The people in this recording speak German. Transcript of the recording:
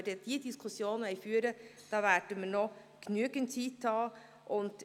Wenn wir diese Diskussion führen wollen, werden wir noch genügend Zeit haben.